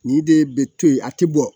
Nin de bɛ to yen a tɛ bɔ